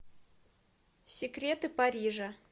секреты парижа